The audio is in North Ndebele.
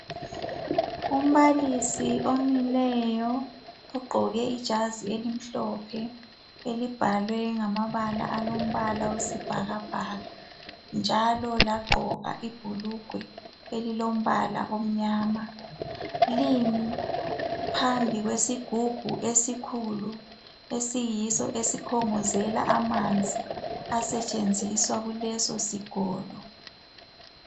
Umbalisi omileyo ugqoke ijazi elimhlophe elibhalwe ngamabala alombala wesibhakabhaka njalo lagqoka ibhulugwe elilombala omnyama limi phambi kwesigubhu esikhulu esiyiso esikhongozela amanzi asetshenziswa kuleso sikolo.